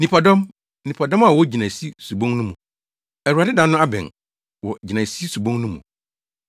Nnipadɔm, nnipadɔm wɔ gyinaesi subon no mu! Awurade da no abɛn wɔ gyinaesi subon no mu.